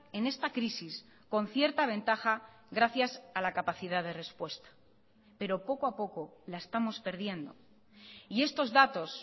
en esta crisis con cierta ventaja gracias a la capacidad de respuesta pero poco a poco la estamos perdiendo y estos datos